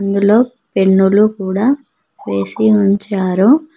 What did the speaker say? ఇందులో పెన్నులు కూడ వేసి ఉంచారు.